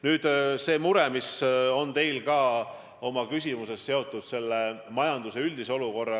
Nüüd see mure, mis teie küsimuses kõlas ja mis on seotud majanduse üldise olukorraga.